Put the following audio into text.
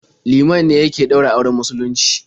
Liman ne yake ɗaura auren musulunci.